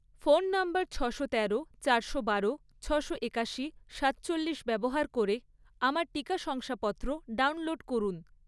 Phone নম্বর ছশো তেরো, চারশো বারো, ছশো একাশি, সাতচল্লিশ ব্যবহার করে আমার টিকা শংসাপত্র ডাউনলোড করুন।